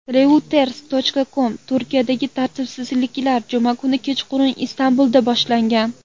Reuters.com Turkiyadagi tartibsizliklar juma kuni kechqurun Istanbulda boshlangan.